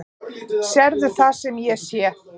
Sérðu það sem ég sé?